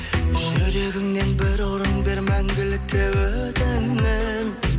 жүрегіңнен бір орын бер мәңгілікке өтінемін